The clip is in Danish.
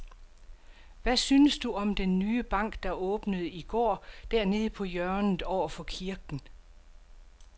Hvad synes du om den nye bank, der åbnede i går dernede på hjørnet over for kirken?